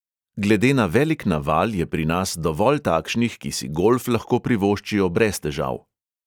Glede na velik naval je pri nas dovolj takšnih, ki si golf lahko privoščijo brez težav.